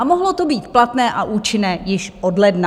A mohlo to být platné a účinné již od ledna.